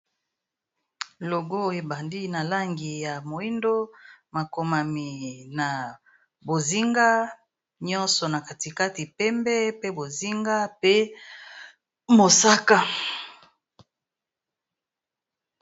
Logo ebandi na langi ya moyindo makomami na bozinga nyonso na katikati pembe pe bozinga pe mosaka.